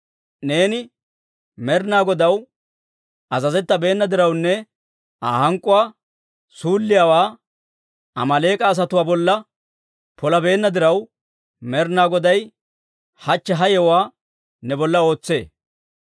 Neeni Med'inaa Godaw azazettabeena dirawunne Aa hank'k'uwaa suulliyaawaa Amaaleek'a asatuwaa bolla polabeenna diraw, Med'inaa Goday hachche ha yewuwaa ne bolla ootsee.